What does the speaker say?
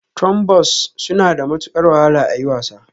Trombones suna da matukar wahala a yi wasa